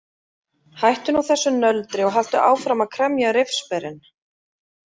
Hættu nú þessu nöldri og haltu áfram að kremja rifsberin.